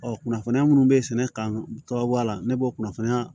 Ɔ kunnafoniya minnu bɛ sɛnɛ kan bɔ a la ne b'o kunnafoniya